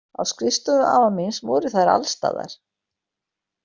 Á skrifstofu afa míns voru þær alstaðar.